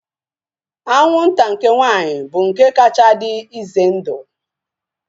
Anwụnta nke nwaanyị bụ nke kacha dị ize ndụ